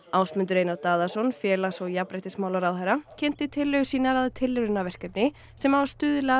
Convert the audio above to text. Ásmundur Einar Daðason félags og jafnréttismálaráðherra kynnti tillögur sínar að tilraunaverkefni sem á að